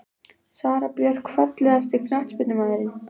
Sara Björk Fallegasti knattspyrnumaðurinn?